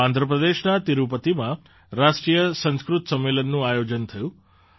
તો આંધ્ર પ્રદેશના તિરુપતિમાં રાષ્ટ્રીય સંસ્કૃત સંમેલનનું આયોજન થયું